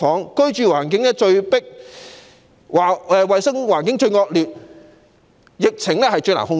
該區的居住環境最擠迫、衞生環境最惡劣，疫情最難以受控。